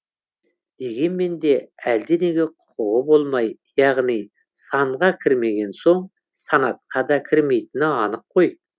дегенмен де әлденеге құқығы болмай яғни санға кірмеген соң санатқа да кірмейтіні анық қой